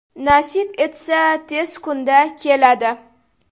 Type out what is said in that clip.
Nasib etsa, tez kunda keladi.